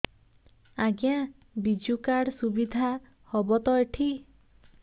ଆଜ୍ଞା ବିଜୁ କାର୍ଡ ସୁବିଧା ହବ ତ ଏଠି